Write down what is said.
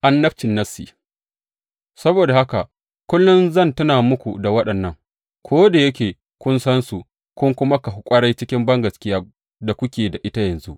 Annabcin nassi Saboda haka kullum zan tuna muku da waɗannan, ko da yake kun sansu kun kuma kahu ƙwarai cikin gaskiyar da kuke da ita yanzu.